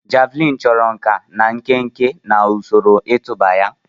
Javuliini chọrọ nkà na nkenke na usoro ịtụba ya.